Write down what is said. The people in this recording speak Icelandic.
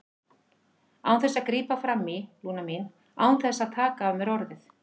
Án þess að grípa fram í, Lúna mín, án þess að taka af mér orðið.